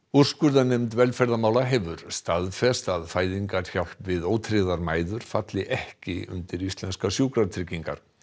úrskurðarnefnd velferðarmála hefur staðfest að fæðingarhjálp við ótryggðar mæður falli ekki undir íslenskar sjúkratryggingar